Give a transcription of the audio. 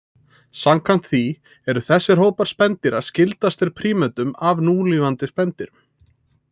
Samkvæmt því eru þessir hópar spendýra skyldastir prímötum af núlifandi spendýrum.